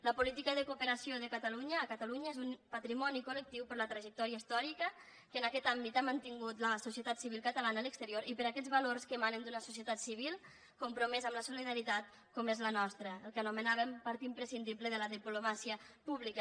la política de cooperació de catalunya a catalunya és un patrimoni col·lectiu per la trajectòria històrica que en aquest àmbit ha mantingut la societat civil catalana a l’exterior i per aquests valors que emanen d’una societat civil compromesa amb la solidaritat com és la nostra el que anomenàvem part imprescindible de la diplomàcia pública